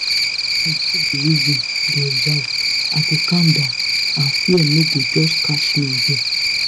if i just dey reason dey observe i go calm down and fear no go just catch me again